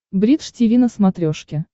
бридж тиви на смотрешке